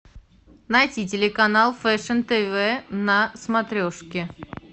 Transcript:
найти телеканал фэшн тв на смотрешке